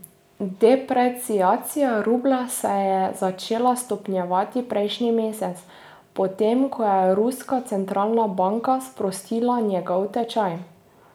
Depreciacija rublja se je začela stopnjevati prejšnji mesec, potem ko je ruska centralna banka sprostila njegov tečaj.